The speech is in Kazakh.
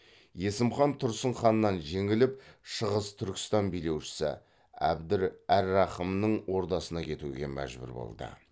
есім хан тұрсын ханнан жеңіліп шығыс түркістан билеушісі абдір әр рахымның ордасына кетуге мәжбүр болды